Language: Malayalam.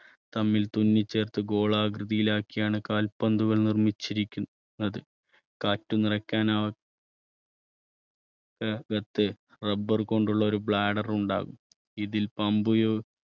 തമ്മിൽ തുന്നി ചേർത്ത് ഗോളാകൃതിയിൽ ആക്കിയാണ് കാൽപന്തുകൾ നിർമ്മിച്ചിരിക്കു~ന്നത്. കാറ്റു നിറയ്ക്കാനാ rubber കൊണ്ടുള്ള ഒരു bladder ഉണ്ടാകും ഇതിൽ pump